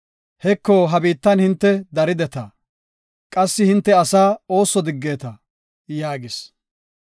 Heko, ha biittan hinte darideta; qassi hinte asaa ooso diggeta” yaagis.